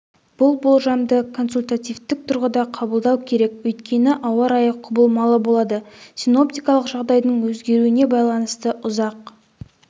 бұл болжамды консультативтік тұрғыда қабылдау керек өйткені ауа-райы құбылмалы болады синоптикалық жағдайдың өзгеруіне байланысты ұзақ